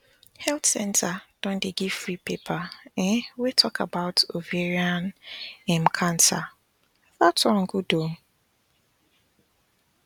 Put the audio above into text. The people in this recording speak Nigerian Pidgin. health centre don dey give free paper um wey talk about ovarian um cancer that one good ooo